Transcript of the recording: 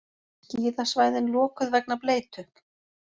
Skíðasvæðin lokuð vegna bleytu